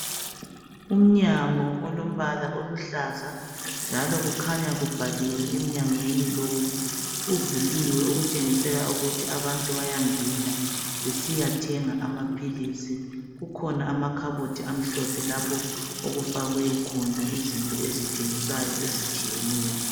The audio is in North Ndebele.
Umnyango olombala oluhlaza njalo kukhanya kubhaliwe emnyangweni lowu. Uvuliwe okutshengisela ukuthi abantu bayangena besiyathenga amaphilisi. Kukhona amakhabothi amhlophe lapho okufakwe khona izinto ezithengiswayo ezitshiyeneyo.